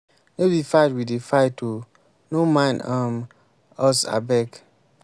no be fight we dey fight oo. no mind um us abeg.